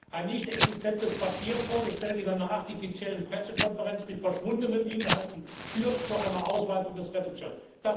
Ein nichtexistentes Papier, vorgestellt in einer artifiziellen Pressekonferenz, mit verschwundenen Inhalten führt zu einer Ausweitung des Rettungsschirms.